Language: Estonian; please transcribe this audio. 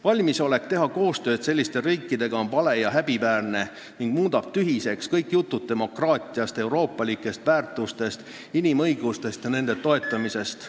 Valmisolek teha koostööd sellise riigiga on vale ja häbiväärne ning muudab tühiseks kõik jutud demokraatiast, euroopalikest väärtustest, inimõigustest ja nende toetamisest.